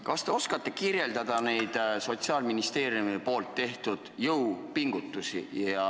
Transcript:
Kas te oskate kirjeldada neid Sotsiaalministeeriumi tehtud jõupingutusi?